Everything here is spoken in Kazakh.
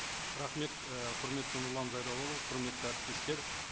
рахмет і құрметті нұрлан зайроллаұлы құрметті әріптестер